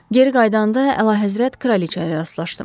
Geri qayıdanda əlahəzrət kraliçaya rastlaşdım.